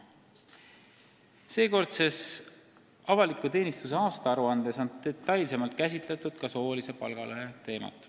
Seekordses avaliku teenistuse aastaaruandes on detailsemalt käsitletud ka soolise palgalõhe teemat.